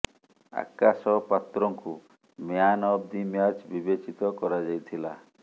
ଆକାଶ ପାତ୍ରଙ୍କୁ man of the match ବିବେଚିତ କରାଯାଇଥିଲା